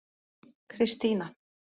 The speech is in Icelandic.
Kristína